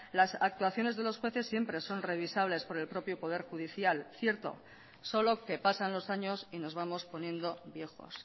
las actuaciones de los jueces siempre son revisables por el propio poder judicial cierto solo que pasan los años y nos vamos poniendo viejos